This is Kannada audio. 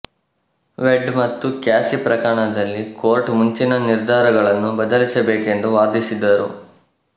ವೇಡ್ ಮತ್ತು ಕ್ಯಾಸಿ ಪ್ರಕರಣದಲ್ಲಿ ಕೋರ್ಟ್ ಮುಂಚಿನ ನಿರ್ಧಾರಗಳನ್ನು ಬದಲಿಸಬೇಕೆಂದು ವಾದಿಸಿದರು